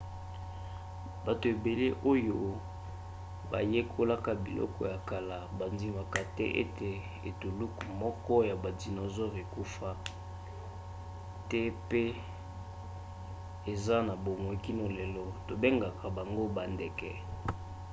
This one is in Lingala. bato ebele oyo bayekolaka biloko ya kala bandimaka ete etuluku moko ya badisonosaure ekufa te pe eza na bomoi kino lelo. tobengaka bango bandeke